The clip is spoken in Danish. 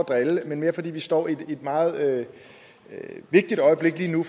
at drille men mere fordi vi står i et meget vigtigt øjeblik lige nu